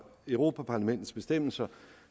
europa parlamentets bestemmelser